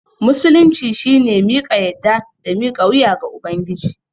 Musulunci shine miƙa yadda da mika wuya ga Ubangiji.